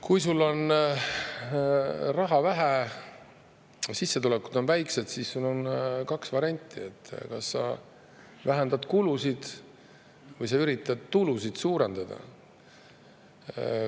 Kui sul ettevõtjana on raha vähe, sissetulekud on väikesed, siis sul on kaks varianti: kas sa vähendad kulusid või üritad tulusid suurendada.